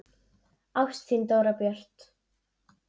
Ást, þín Dóra Björt.